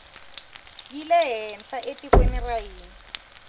yile henhla etikweni ra hina